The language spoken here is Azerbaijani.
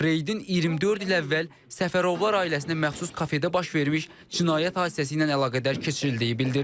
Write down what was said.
Reydin 24 il əvvəl Səfərovlar ailəsinə məxsus kafedə baş vermiş cinayət hadisəsi ilə əlaqədar keçirildiyi bildirilir.